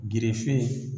Girife